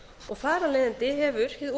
og þar af leiðandi hefur